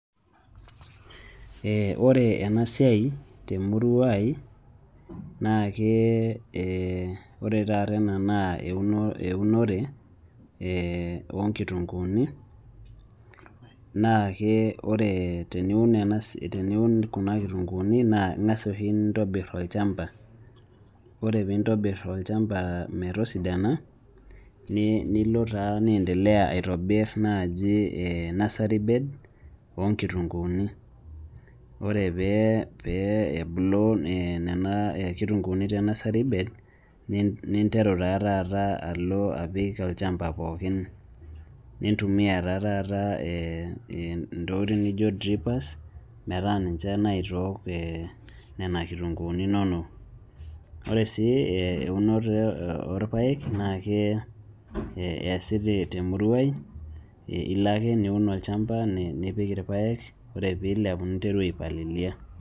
ee ore ena siia temurua ai naa ke ore taata ena naa eunore ookitunkuuni, naa ke ore teniun ena teniun kuna kitunkuuni naa ingaas oshi nintobir olchampa ,ore pee intobir olchampa metisidana, nilo taa niendelea aitobir naaji ee nursery bed oo nkitunkuuni, ore pee, pee ebulu nena kitunkuuni te nursery bed, ninteru taa taata alo apik olchampa pookin. nintumia taa taata intokitin neijo drippers meta ninche naitook te nena kitunkuuni inono. ore sii eunoto orpaek naa keesi temurua ai.ilo ake niun olchampa nipik irpaek ore pee eilepu ninteru aipalilia.